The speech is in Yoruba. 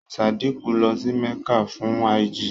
Sádíkù lọ sí Mẹ́kà fún áàjì.